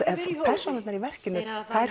persónurnar í verkinu